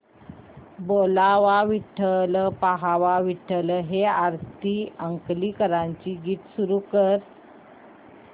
बोलावा विठ्ठल पहावा विठ्ठल हे आरती अंकलीकरांचे गीत सुरू कर